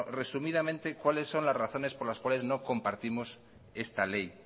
resumidamente cuáles son las razones por las cuales no compartimos esta ley